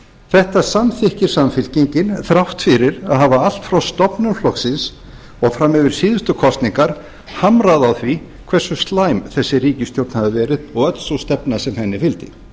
þetta samþykkir samfylkingin þrátt fyrir að hafa allt frá stofnun flokksins og fram yfir síðustu kosningar hamrað á því hversu slæm þessi ríkisstjórn hafi verið og öll sú stefna sem henni fylgdi